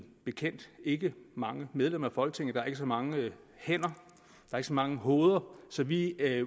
bekendt ikke mange medlemmer i folketinget der er ikke så mange hænder og ikke så mange hoveder så vi